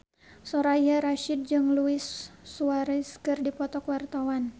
Soraya Rasyid jeung Luis Suarez keur dipoto ku wartawan